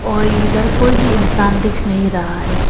और इधर कोई भी इंसान दिख नहीं रहा है।